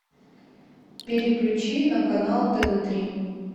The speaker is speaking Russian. переключи на канал тв три